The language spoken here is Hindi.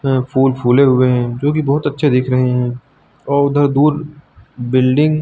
अं फूल फूले हुए हैं जोकि बहुत अच्छे दिख रहे हैं और उधर दूर बिल्डिंग --